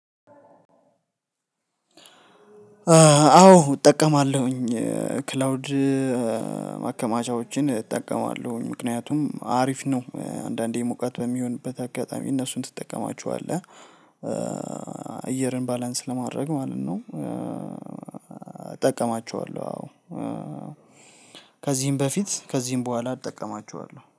አዎ እጠቀማለሁኝ ክላውድ ማከማቻዎችን እጠቀማለሁኝ። ምክንያቱም አሪፍ ነው አንዳንዴ ሙቀት በሚሆንበት አጋጣሚ እነሱን ትጠቀማቸዋለህ። አየርን ባላንስ ለማድረግ ማለት ነው እጠቀማቸዋለሁ አዎ። ከዚህም በፊት ከዚህም በኋላ እጠቀማቸዋለሁ።